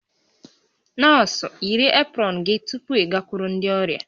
Nọọsụ, yiri eprọn gị tupu ịgakwuru ndị ọrịa!